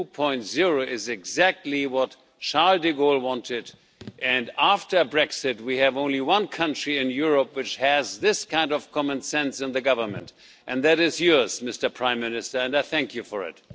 2.0 is exactly what Charles de Gaulle wanted, and after Brexit we have only one country in Europe which has this kind of common sense in the government, and that is yours, Mr Prime Minister, and I thank you for it.